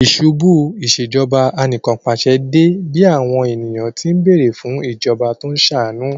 Ìṣubú u Ìṣèjọba Anìkànpàṣẹ dé bí àwọn ènìyàn tí ń bẹ̀ẹ̀rẹ̀ fún ìjọba tó ń ṣàánú